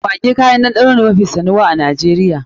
Maggi kayan ɗanɗano ne mafi sanuwa a Najeriya.